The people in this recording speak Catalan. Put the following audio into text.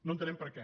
no entenem per què